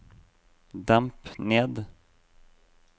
demp ned